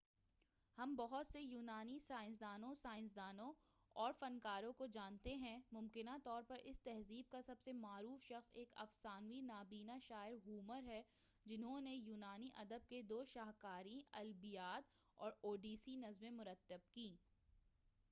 ہم بہت سے یونانی سیاستدانوں سائنسدانوں اور فنکاروں کو جانتے ہیں ممکنہ طور پر اس تہذیب کا سب سے معروف شخص ایک افسانوی نابینہ شاعر ہومر ہے جنہوں نے یونانی ادب کے دو شاہکاریں الییاد اور اوڈیسی نظمیں مرتب کیں